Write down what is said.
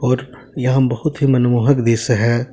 और यहां बहुत ही मनमोहक दृश्य है।